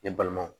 Ne balimaw